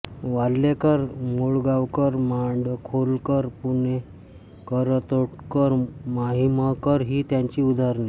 वाल्हेकर मुळगावकर माडखोलकर पुणेकरतोडकर माहीमकर ही त्याची उदाहरणे